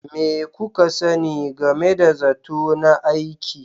Me kuka sani game da zato na aiki?